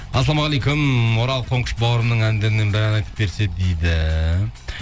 ассалаумағалейкум орал қоңқыш бауырымының әндерінен бір ән айтып берсе дейді